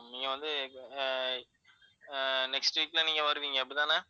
நீங்க வந்து ஆஹ் ஆஹ் next week ல நீங்க வருவீங்க அப்படித்தானா?